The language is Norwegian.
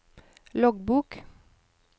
loggbok